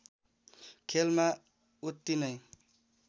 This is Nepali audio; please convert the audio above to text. खेलमा उत्ति नै